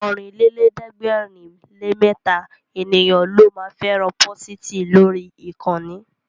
Ọ̀rìnlélẹ̀ẹ́dẹ́gbèrinlémẹta ènìyàn ló ma fẹ́ràn pósìtì lórí ìkànnì